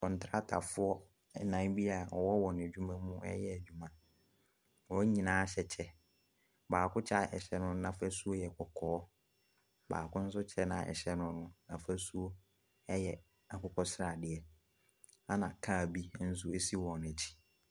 Kwantratafoɔ nnan bi a wɔwɔ wɔn adwuma mu reyɛ adwuma. Wɔn nyinaa hyɛ kyɛ. Baako kyɛ a ɛhyɛ no no afasuo yɛ kɔkɔɔ. Baako nso kyɛ a ɛhyɛ no no, n'afasuo yɛ akokɔsradeɛ ɛna car bi nso si wɔn akyi.